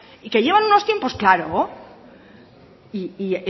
y que llevan unos tiempos claro y